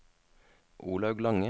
Olaug Lange